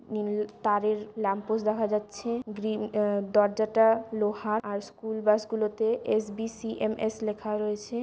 নীল তারের ল্যাম্পপোস্ট দেখা যাচ্ছে গ্রীন আহ দরজাটা লোহা আর স্কুল বাস গুলোতে এস.বি.সি.এম.এস লেখা রয়েছে।